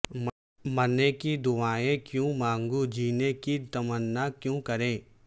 مرنے کی دعائیں کیوں مانگوں جینے کی تمنا کون کرے